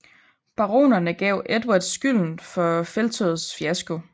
Baronerne gav Edvard skylden for felttogets fiasko